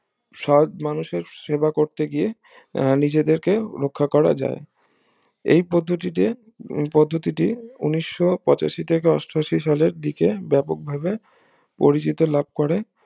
সৎ মানুষের সেবা করতে গিয়ে আহ নিজেদেরকে রাখা করা যায় এই পদ্ধতিতে পদ্ধতিটি ঊনিশো পঁচাশি থেকে অষ্টআশি সালের দিকে ব্যাপকভাবে পরিচিত লাভ করে